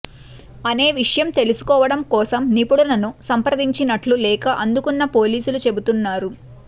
అనే విషయం తెలుసుకోవడం కోసం నిపుణులను సంప్రదించినట్లు లేక అందుకున్న పోలీసులు చెబుతున్నారు